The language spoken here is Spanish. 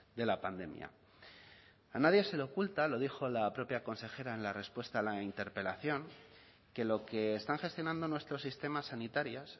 de la pandemia a nadie se le oculta lo dijo la propia consejera en la respuesta a la interpelación que lo que están gestionando nuestro sistema sanitarias